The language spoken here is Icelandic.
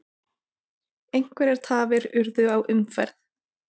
Einhverjar tafir urðu á umferð